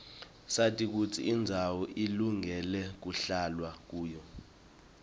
sati kutsi indzawo ilungele kuhlalwa kuyo